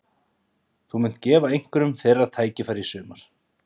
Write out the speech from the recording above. Þú munt gefa einhverjum þeirra tækifæri í sumar?